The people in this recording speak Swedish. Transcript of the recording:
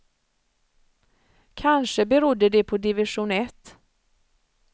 Kanske berodde det på division ett.